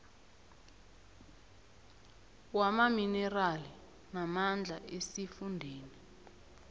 wamaminerali namandla esifundeni